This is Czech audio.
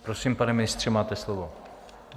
Prosím, pane ministře, máte slovo.